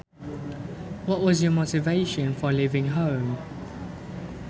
What was your motivation for leaving home